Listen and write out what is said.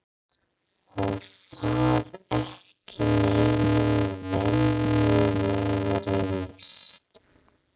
Og það ekki neinni venjulegri list!